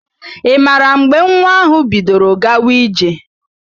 Ị maara mgbe nwa ahụ bidoro gawa ije?